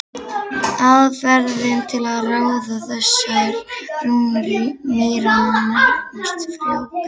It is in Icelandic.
Aðferðin til að ráða þessar rúnir mýranna nefnist frjógreining.